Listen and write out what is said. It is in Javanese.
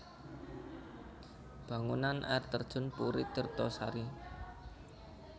Bangunan Air Terjun Puri Tirto Sari